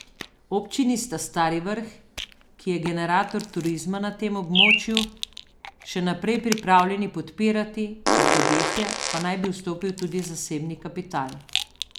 Občini sta Stari vrh, ki je generator turizma na tem območju, še naprej pripravljeni podpirati, v podjetje pa naj bi vstopil tudi zasebni kapital.